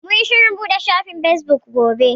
Mun yi shirin buɗe shafin fesbuk gobe.